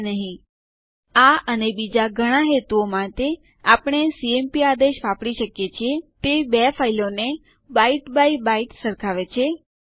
હું અહીં ધારું છું કે તમે તમાર હોમ ફોલ્ડરમાં અમુક ટેક્સ્ટ ફાઈલો બનાવી છે